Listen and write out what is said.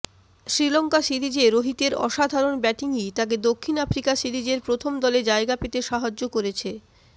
শ্রীলঙ্কা সিরিজে রোহিতের অসাধারণ ব্যাটিংই তাঁকে দক্ষিণ আফ্রিকা সিরিজের প্রথম দলে জায়গা পেতে সাহায্য করেছে